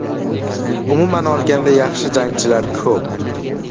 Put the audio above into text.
Umuman olganda, yaxshi jangchilar ko‘p.